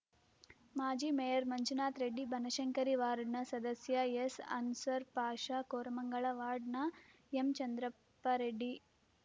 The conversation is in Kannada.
ಮಾಜಿ ಮೇಯರ್‌ ಮಂಜುನಾಥ್‌ ರೆಡ್ಡಿ ಬನಶಂಕರಿ ವಾರ್ಡ್‌ನ ಸದಸ್ಯ ಎಸ್‌ಅನ್ಸರ್‌ ಪಾಷಾ ಕೋರಮಂಗಲ ವಾರ್ಡ್‌ನ ಎಂಚಂದ್ರಪ್ಪ ರೆಡ್ಡಿ